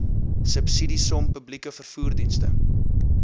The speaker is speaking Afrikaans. subsidiesom publieke vervoerdienste